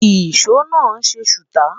ìsọ má n se suta